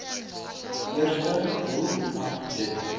eerste doel aangeteken